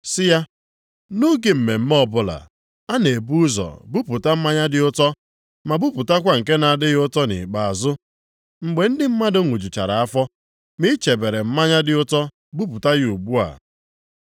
sị ya, “Nʼoge mmemme ọbụla, a na-ebu ụzọ buputa mmanya dị ụtọ, ma bupụtakwa nke na-adịghị ụtọ nʼikpeazụ, mgbe ndị mmadụ ṅụjuchara afọ, ma i chebere mmanya dị ụtọ buputa ya ugbu a.”